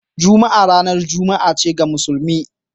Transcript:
Juma'a ranar juma'a ce ga musulmi.